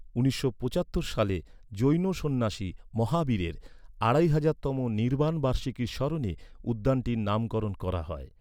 উনিশশো পঁচাত্তর সালে জৈন সন্ন্যাসী মহাবীরের আড়াই হাজার তম নির্বাণ বার্ষিকীর স্মরণে উদ্যানটির নামকরণ করা হয়।